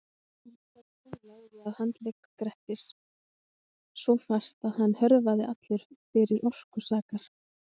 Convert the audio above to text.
En þrællinn lagði að handleggjum Grettis svo fast að hann hörfaði allur fyrir orku sakar.